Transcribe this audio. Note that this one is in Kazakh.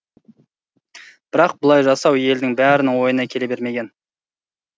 бірақ бұлай жасау елдің бәрінің ойына келе бермеген